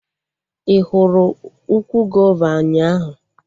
Ị hụrụ ukwu gova ụnyaahụ?